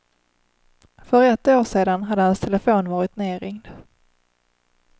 För ett år sedan hade hans telefon varit nedringd.